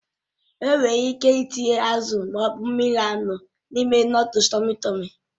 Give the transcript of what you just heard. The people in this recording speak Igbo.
Enwere ike ịtinye azụ ma ọ bụ mmiri anụ n'ime nụ́dúls tọmmy tọ̀mmy.